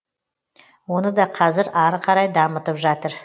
оны да қазір ары қарай дамытып жатыр